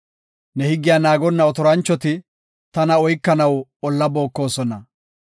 Ne higgiya naagonna otoranchoti tana oykanaw olla bookosona.